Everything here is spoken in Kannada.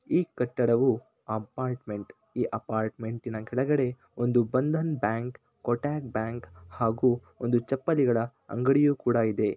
ಈ ಕಟ್ಟಡವು ಅಪಾರ್ಟಮೆಂಟ ಈ ಅಪಾರ್ಟಮೆಂಟಿನ ಕೆಳಗಡೆ ಒಂದು ಬಂದನ್ ಬ್ಯಾಂಕ್ ಕೋಟಕ್ ಬ್ಯಾಂಕ್ ಹಾಗೂ ಒಂದು ಚಪ್ಪಲಿಗಳ ಅಂಗಡಿಯು ಕುಡ ಇದೆ .